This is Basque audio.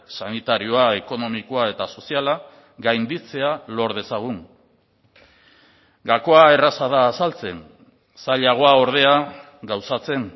sanitarioa ekonomikoa eta soziala gainditzea lor dezagun gakoa erraza da azaltzen zailagoa ordea gauzatzen